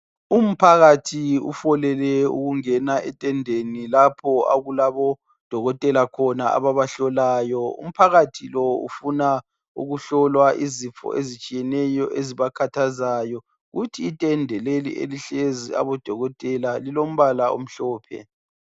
Umphakathi ufolele ukungena etendeni lapho okulabo dokotela ababahlolayo umphakathi lo ufuna ukuhlolwa izifo ezitshiyeneyo ezibakhathazayo kuthi itende leli elihlezi abodokotela lilombala omhlophe